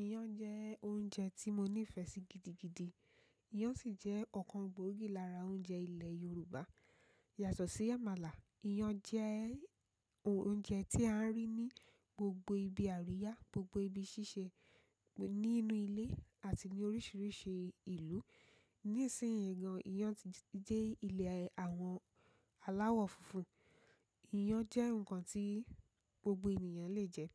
Iyán jẹ́ oúnjẹ tí mo nífẹ̀ẹ́ sí gidigidi. Iyán sì jẹ́ ọ̀kan gbòógì lára oúnjẹ ilẹ̀ Yorùbá. Yàtọ̀ sí àmàlà, iyán jẹ́ oúnjẹ tí a rí ní gbogbo ibi àríyá, gbogbo ibi ṣíṣe, nínú ilé àti ní oríṣiríṣi ìlú. Nísìnyí gan, iyán ti dẹ́ ilẹ̀ àwọn aláwọ̀ funfun. Iyán jẹ́ ǹkan tí gbogbo ènìyàn lè jẹ.